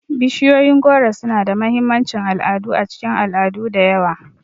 Bishiyoyin goro suna da mahimmancin al'adu a cikin al'adu da yawa.